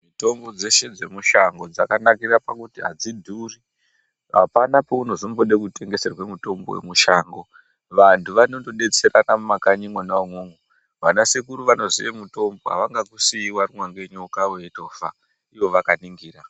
Mitombo dzeshe dzemushango dzakanakira pakuti hadzidhuri. Hapana peunozombode kutengeserwe mutombo wemushango. Vantu vanotodetserana mwumwakanyi mwona imwomwo. Vanasekuru vanoziye mutombo havangakusiyi warumwa ngenyoka weitofa ivo vakaningira.